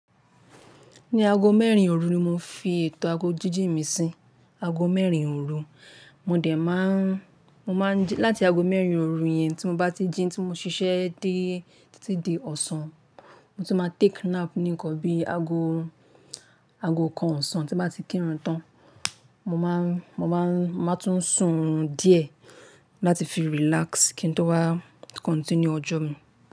Ní aago mẹ́rin òru ni mo fi ètò aago jíjìn mi sí. Aago mẹ́rin òru, mo dẹ má n, mo má n jí- láti aago mẹ́rin òru yẹn tí mo bá ti jí tí mo ṣiṣẹ́ di- títí di ọ̀sán, mo tún máa take nap nìkan bí aago, aago kan ọ̀sán tí bá ti kírun tán. Mo máa n- mo máa n- mo máa tún sùn oorun díẹ̀ láti fi relax kí n tó wá continue ọjọ́ mi.